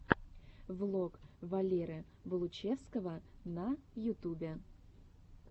влог валеры болучевского на ютубе